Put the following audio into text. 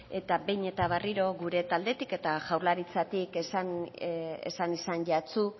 eta behin eta berriro gure taldetik eta jaurlaritzatik esan izan jatsu